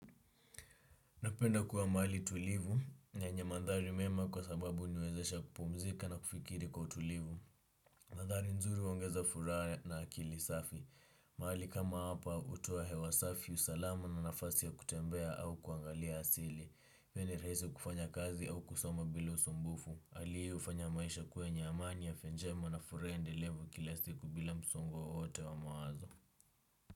Napenda kuwa mahali tulivu, na yenye mandhari mema kwa sababu huniwezesha kupumzika na kufikiri kwa tulivu. Mandhari nzuri huongeza furaha na akili safi. Mahali kama hapa hutoa hewa safi, usalama na nafasi ya kutembea au kuangalia asili. Pia ni rahisi kufanya kazi au kusoma bila usumbufu. Hali hii ufanya maisha kuwa yenye amani, afya njema na furaha iendelevu kila siku bila msongo wowote wa mawazo.